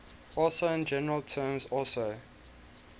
also in general terms also